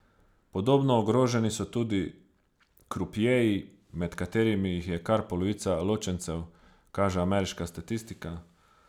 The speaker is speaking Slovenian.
Podobno ogroženi so tudi krupjeji, med katerimi jih je kar polovica ločencev, kaže ameriška statistika.